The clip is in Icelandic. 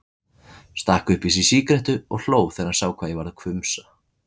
Stakk upp í sig sígarettu og hló þegar hann sá hvað ég varð hvumsa.